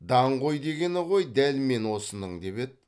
даңғой дегені ғой дәл мен осының деп еді